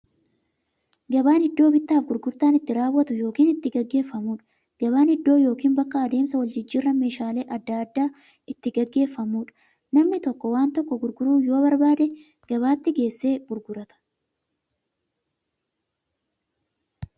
Gabaan iddoo bittaaf gurgurtaan itti raawwatu yookiin itti gaggeeffamuudha. Gabaan iddoo yookiin bakka adeemsa waljijjiiraan meeshaalee adda addaa itti gaggeeffamuudha. Namni tokko waan tokko gurguruu yoo barbaade, gabaatti geessee gurgurata.